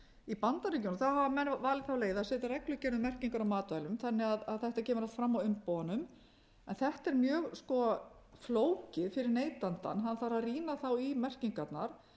í bandaríkjunum hafa menn valið þá leið að setja reglugerð um merkingar á matvælum þannig að þetta kemur allt fram á umbúðunum en þetta er mjög flókið fyrir neytandann hann þarf að rýna í merkingarnar